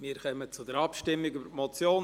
Wir kommen zur Abstimmung über die Motion.